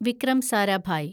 Vikram Sarabhai